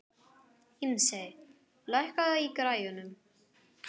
Ísmey, lækkaðu í græjunum.